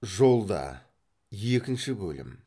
жолда екінші бөлім